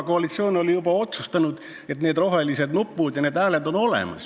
Koalitsioon oli juba otsustanud nende roheliste nuppude kasuks ja need hääled on olemas.